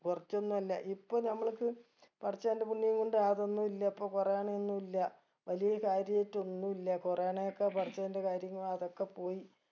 കുറച്ചൊന്നു അല്ല ഇപ്പൊ നമ്മള്ക്ക് പടച്ചോന്റെ പുണ്യം കൊണ്ട് യാതൊന്നും ഇല്ല ഇപ്പൊ corona ഒന്നും ഇല്ല വലിയ കാര്യായിട്ട് ഒന്നും ഇല്ല corona യൊക്കെ പടച്ചോന്റെ കാര്യം അതൊക്കെ പോയി